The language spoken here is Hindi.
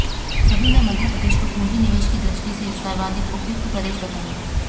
सभी ने मध्यप्रदेश को पूँजी निवेश की दृष्टि से सर्वाधिक उपयुक्त प्रदेश बताया